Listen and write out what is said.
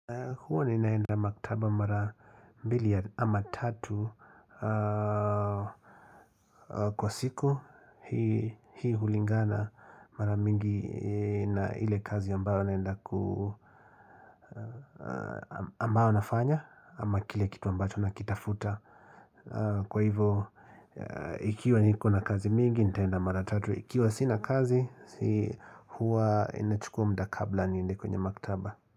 Huwa ninaenda maktaba mara mbili ama tatu kwa siku hii hulingana mara mingi na ile kazi ambayo naenda ku ambayo nafanya ama kile kitu ambacho nakitafuta kwa hivo ikiwa niko na kazi mingi nitaenda mara tatu. Ikiwa sina kazi huwa inachukua muda kabla niende kwenye maktaba.